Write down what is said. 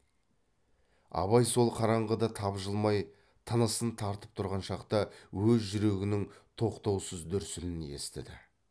абай сол қараңғыда тапжылмай тынысын тартып тұрған шақта өз жүрегінің тоқтаусыз дүрсілін естіді